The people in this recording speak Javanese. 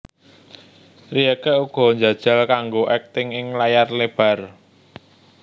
Rieke uga njajal kanggo akting ing layar lebar